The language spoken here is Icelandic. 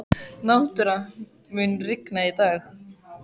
Náttúra, mun rigna í dag?